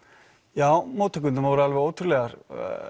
já móttökurnar voru alveg ótrúlegar